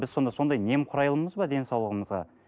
біз сонда сондай немқұрайлымыз ба денсаулығымызға